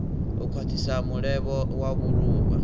u khwathisa mulevho wa vhuluvha